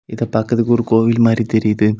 இது பாக்குறதுக்கு ஒரு கோயில் மாதிரி தெரியுது.